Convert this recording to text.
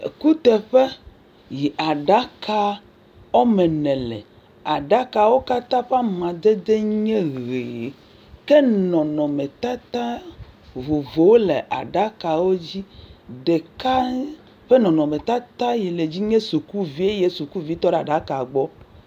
Ekuteƒe yi aɖaka wɔme ene le. Aɖakawo katã ƒe amadede nye ʋiʋi. Ke nɔnɔmetata vovovowo le aɖakawo dzi. Ɖeka ƒe nɔnɔmetata yi le dzi nye sukuvi eye sukuvi tɔ ɖe aɖaka gbɔ.